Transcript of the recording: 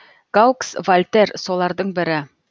гаукс вальтер солардың бірі